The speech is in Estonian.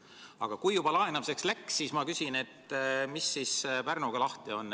Aga kui juba laenamiseks läks, siis ma küsin, et mis Pärnuga lahti on.